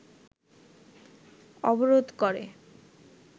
অবরোধ করে